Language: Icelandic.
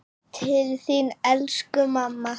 Til þín elsku mamma.